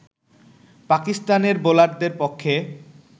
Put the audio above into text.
পাকিস্তানের বোলারদের পক্ষে